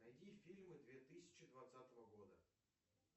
найди фильмы две тысячи двадцатого года